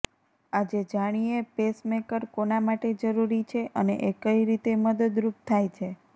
આજે જાણીએ પેસમેકર કોના માટે જરૂરી છે અને એ કઈ રીતે મદદરૂપ ાય છે